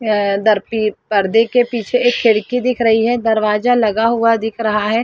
दर परदे के पीछे एक खिड़की दिख रही है दरवाजा लगा हुआ दिख रहा है।